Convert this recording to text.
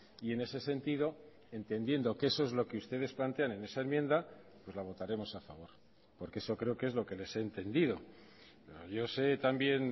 y en ese sentido entendiendo que eso es lo que ustedes plantean en esa enmienda pues la votaremos a favor porque eso creo que es lo que les he entendido yo se también